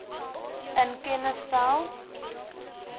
in kennis stel